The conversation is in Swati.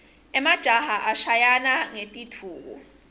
emajaha ashayana ngetindvuku